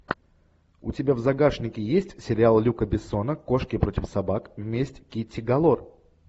у тебя в загашнике есть сериал люка бессона кошки против собак месть китти галор